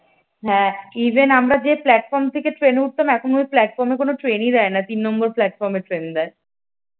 হ্যাঁ even আমরা যে যে প্ল্যাটফর্ম থেকে ট্রেনে উঠতাম এখন ওই প্লাটফর্মে কোন ট্রেনেই দেয় না তিন নম্বর প্লাটফর্মে ট্রেন দেয়।